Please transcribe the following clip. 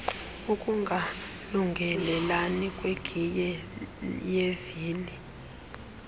ukungalungelelani kwegiye yevili